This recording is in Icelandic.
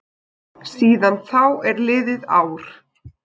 Síðan þá er liðið ár.